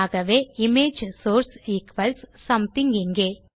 ஆகவே image source equals something இங்கே